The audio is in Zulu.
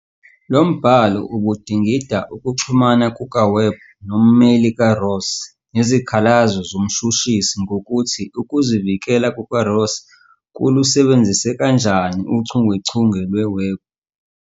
Lo mbhalo ubudingida ukuxhumana kukaWebb nommeli kaRoss nezikhalazo zomshushisi ngokuthi ukuzivikela kukaRoss kulusebenzise kanjani uchungechunge lweWebb.